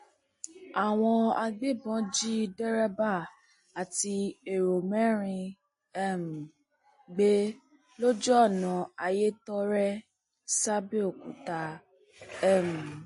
àwọn agbébọn jí dèrèbà àti èrò mẹrin um gbé lójú ọnà ayétọrẹ sàbẹọkúta um